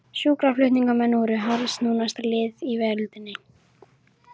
Sjúkraflutningamenn voru harðsnúnasta lið í veröldinni.